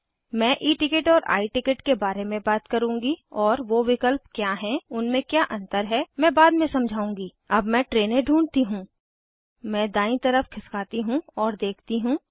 मैं E ticket और I ticket के बारे में बात करुँगी और वो विकल्प क्या हैं उनमें क्या अंतर हैं मैं बाद में समझाऊंगी अब मैं ट्रेनें ढूँढ़ती हूँ मैं दायीं तरफ खिसकाती हूँ और देखती हूँ